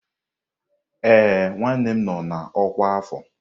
Ee, nwanne nnem nọ na ọkwá afọ.